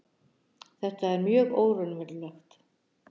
Þetta er mjög óraunverulegt.